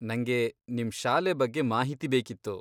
ನಂಗೆ ನಿಮ್ ಶಾಲೆ ಬಗ್ಗೆ ಮಾಹಿತಿ ಬೇಕಿತ್ತು.